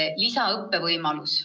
On lisaõppe võimalus.